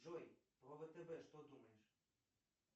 джой про втб что думаешь